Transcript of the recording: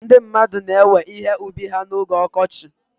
Ndị mmadụ na-ewe ihe ubi ha na oge ọkọchị.